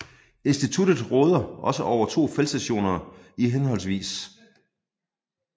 Instituttet råder også over to feltstationer i hhv